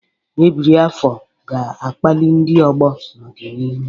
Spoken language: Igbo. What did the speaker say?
Ebiri afọ ga-akpali ndị ọgbọ n'ọdịnihu.